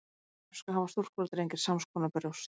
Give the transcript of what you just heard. fyrir kynþroska hafa stúlkur og drengir sams konar brjóst